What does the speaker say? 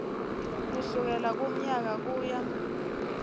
kusukela kulomnyaka kuya